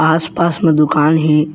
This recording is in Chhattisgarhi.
आस-पास में दुकान हे।